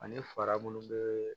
Ani fara minnu bɛ